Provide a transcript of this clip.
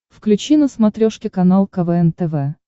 включи на смотрешке канал квн тв